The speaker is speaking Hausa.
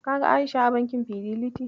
Ka ga A'isha a bankin Fideliti?